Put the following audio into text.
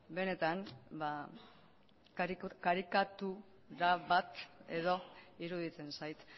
benetan ba karikatura bat edo iruditzen zait